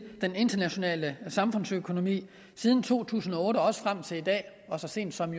i den internationale samfundsøkonomi siden to tusind og otte og frem til i dag og så sent som